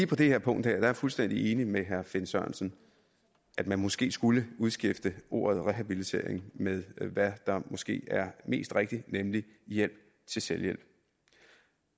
på det her punkt er jeg fuldstændig enig med herre finn sørensen i at man måske skulle udskifte ordet rehabilitering med hvad der måske er mest rigtigt nemlig hjælp til selvhjælp